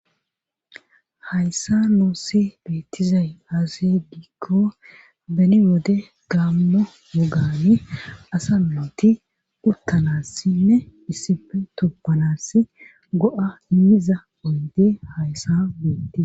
hayssa noossi beettizay azigiikko beni wode gammo wogani asa mmooti uttanassinne issife toppanass go7a immiza oyndee hayssa beettia